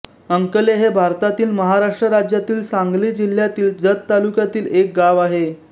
अंकले हे भारतातील महाराष्ट्र राज्यातील सांगली जिल्ह्यातील जत तालुक्यातील एक गाव आहे